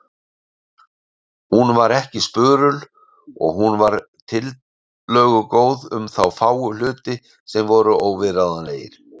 Hún var ekki spurul og hún var tillögugóð um þá fáu hluti sem voru óviðráðanlegir.